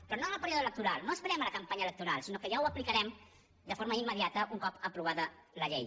però no en el període electoral no esperem la campanya electoral sinó que ja ho aplicarem de forma immediata un cop aprovada la llei